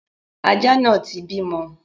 Aja náà ti ń bímọ.